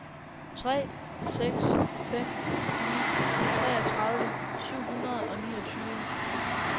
tre seks fem ni treogtredive syv hundrede og niogtyve